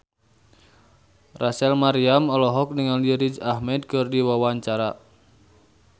Rachel Maryam olohok ningali Riz Ahmed keur diwawancara